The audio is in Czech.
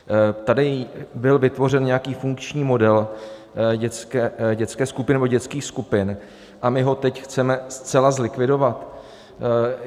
Tady byl vytvořen nějaký funkční model dětské skupiny nebo dětských skupin a my ho teď chceme zcela zlikvidovat?